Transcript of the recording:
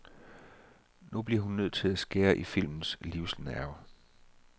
Nu blev hun nødt til at skære i filmens livsnerve.